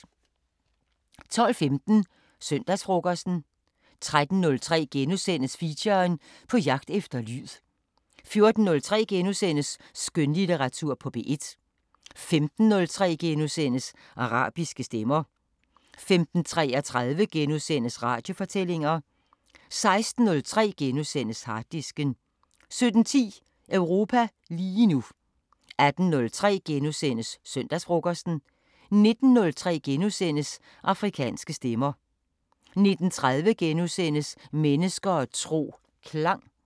12:15: Søndagsfrokosten 13:03: Feature: På jagt efter lyd * 14:03: Skønlitteratur på P1 * 15:03: Arabiske Stemmer * 15:33: Radiofortællinger * 16:03: Harddisken * 17:10: Europa lige nu 18:03: Søndagsfrokosten * 19:03: Afrikanske Stemmer 19:30: Mennesker og tro: Klang *